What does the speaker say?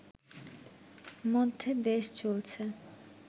মধ্যে দেশ চলছে